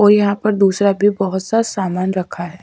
और यहां पर दूसरा भी बहुत सा सामान रखा है।